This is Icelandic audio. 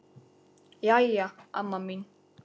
Jæja, amma mín.